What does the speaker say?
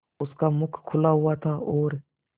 उसका मुख खुला हुआ था और